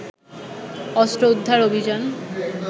অস্ত্র উদ্ধার অভিযান